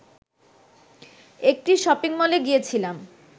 একটি শপিংমলে গিয়েছিলাম